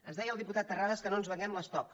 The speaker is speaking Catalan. ens deia el diputat terrades que no ens venguem l’estoc